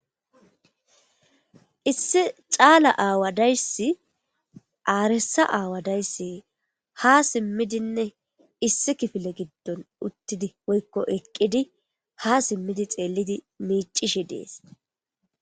Issi cala aawa daysi arisa aawa daysi ha simidinne issi kifile gidon uttidinne woyko eqidi ha simidi mivishe dees.